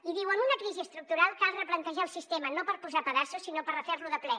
i diu en una crisi estructural cal replantejar el sistema no per posar pedaços sinó per refer lo de ple